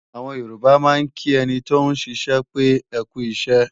Àwọn Yorùbá máa ń kí ẹni tóún ṣiṣẹ́ pé "ẹkú iṣẹ́"